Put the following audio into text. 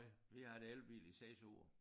Vi har haft elbil i 6 år